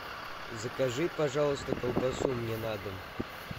закажи пожалуйста колбасу мне на дом